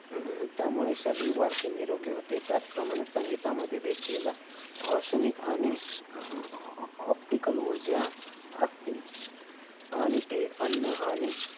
अं त्यामुळे शरीर वाढते निरोगी होते त्याचप्रमाणे संगीतामध्ये देखील औषनिक आणि अह optical ऊर्जा असते. आणि ते अन्न आणि